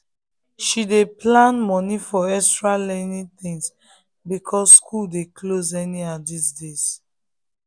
she dey plan money for extra learning things because school dey close anyhow these days.